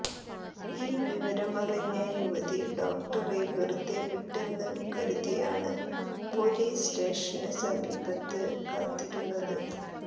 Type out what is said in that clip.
ഈ വിവരമറിഞ്ഞ യുവതി ഡോക്ടറെ വെറുതെ വിട്ടെന്ന് കരുതിയാണ് പൊലീസ് സ്റ്റേഷന് സമീപത്ത് കാത്തിരുന്നത്